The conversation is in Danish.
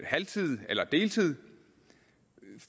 halv tid eller deltid